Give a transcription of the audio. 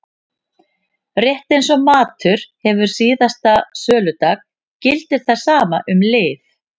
Rétt eins og matur hefur síðasta söludag gildir það sama um lyf.